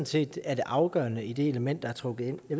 set er det afgørende i det element der er trukket ind det